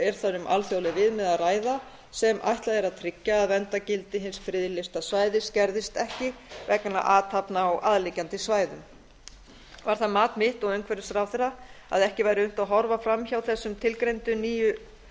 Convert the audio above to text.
er þar um alþjóðleg viðmið að ræða sem ætlað er að tryggja að verndargildi hins friðlýsta svæðis gerðist ekki vegna athafna á aðliggjandi svæðum var það mat mitt og umhverfisráðherra að ekki væri unnt að horfa framhjá þessum tilgreindu nýju